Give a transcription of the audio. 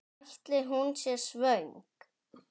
Ætli hún sé svöng?